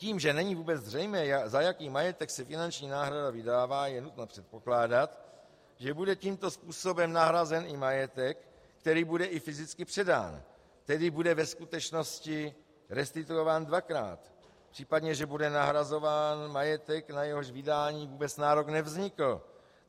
Tím, že není vůbec zřejmé, za jaký majetek se finanční náhrada vydává, je nutno předpokládat, že bude tímto způsobem nahrazen i majetek, který bude i fyzicky předán, tedy bude ve skutečnosti restituován dvakrát, případně že bude nahrazován majetek, na jehož vydání vůbec nárok nevznikl.